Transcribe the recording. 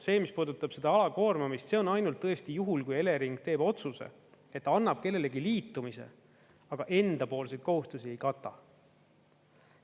See, mis puudutab seda alakoormamist, see on ainult juhul, kui Elering teeb otsuse, et annab kellelegi liitumise, aga endapoolseid kohustusi ei kata.